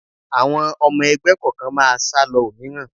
Àwọn ọmọ ẹgbẹ́ kọ̀ọ̀kan máa sálọ òmíràn